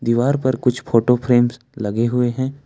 दीवार पर कुछ फोटो फ्रेम्स लगे हुए हैं।